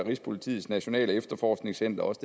rigspolitiets nationale efterforskningscenter også